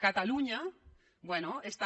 catalunya bé està